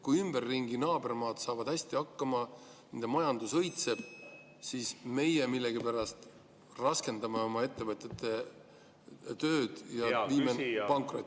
Kui naabermaad saavad hästi hakkama, nende majandus õitseb, siis meie millegipärast raskendame oma ettevõtjate tööd ja viime nad pankrotti.